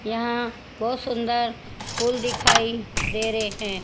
यहां बहुत सुंदर फूल दिखाई दे रहे हैं।